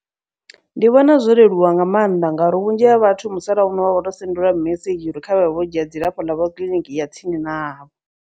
Ndi vhona zwo leluwa nga maanḓa ngauri vhunzhi ha vhathu musalauno vha vho to sendeliwa mimesedzhi uri khavhaye vho dzhia dzilafho ḽavho kiḽiniki ya tsini navho.